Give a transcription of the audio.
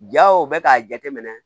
Jaw bɛ k'a jateminɛ